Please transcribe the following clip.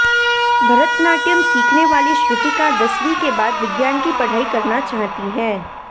भरतनाट्यम सिखने वाली श्रुतिका दसवीं के बाद विज्ञान की पढ़ाई करना चाहती है